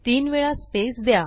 तीन वेळा स्पेस द्या